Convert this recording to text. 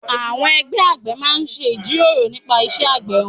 Àwọn ẹgbẹ́ àgbẹ̀ máa ń jíròrò nípa iṣẹ́ ọ̀gbìn wọn.